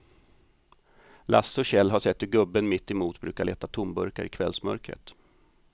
Lasse och Kjell har sett hur gubben mittemot brukar leta tomburkar i kvällsmörkret.